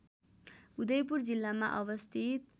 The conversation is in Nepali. उदयपुर जिल्लामा अवस्थित